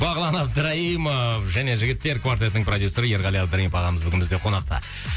бағлан абдраимов және жігіттер квартетінің продюссері ерғали абдраимов ағамыз бүгін бізде қонақта